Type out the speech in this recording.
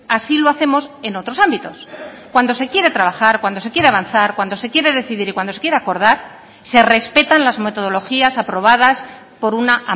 así lo hacemos en otros ámbitos cuando se quiere trabajar cuando se quiere avanzar cuando se quiere decidir y cuando se quiere acordar se respetan las metodologías aprobadas por una